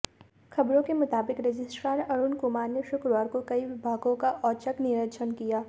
खबरों के मुताबिक रजिस्ट्रार अरुण कुमार ने शुक्रवार को कई विभागों का औचक निरीक्षण किया